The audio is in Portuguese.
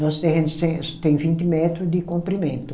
Nosso terreno tem vinte metro de comprimento.